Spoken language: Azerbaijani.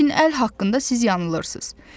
Lakin əl haqqında siz yanılırsınız.